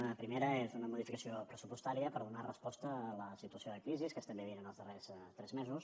una primera és una modificació pressupostària per donar resposta a la situació de crisi que estem vivint en els darrers tres mesos